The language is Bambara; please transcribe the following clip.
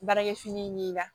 Baarakɛ fini min ka